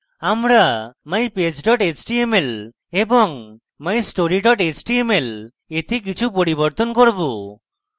আমরা mypage html এবং mystory html we কিছু পরিবর্তন করব